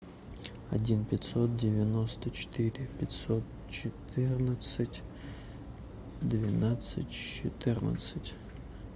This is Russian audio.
один пятьсот девяносто четыре пятьсот четырнадцать двенадцать четырнадцать